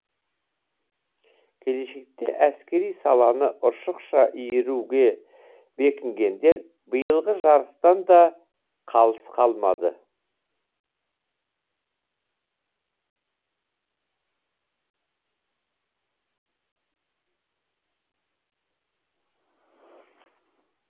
келешекте әскери саланы ұршықша иіруге бекінгендер биылғы жарыстан да қалыс қалмады